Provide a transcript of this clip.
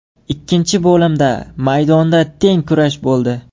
Ikkinchi bo‘limda maydonda teng kurash bo‘ldi.